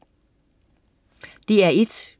DR1: